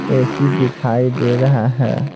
AC दिखाई दे रहा है।